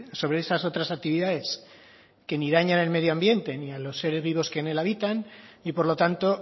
sobre esas otras actividades que ni dañan el medio ambiente ni a los seres vivos que en él habitan y por lo tanto